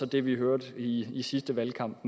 det vi hørte i i sidste valgkamp